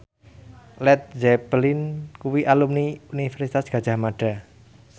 Led Zeppelin kuwi alumni Universitas Gadjah Mada